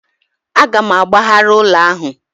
A ga m agbagharị ụlọ ahu